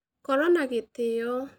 Korwo na gĩtĩo